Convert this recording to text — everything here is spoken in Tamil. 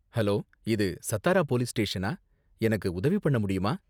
ஹலோ, இது சத்தாரா போலீஸ் ஸ்டேஷனா? எனக்கு உதவி பண்ண முடியுமா?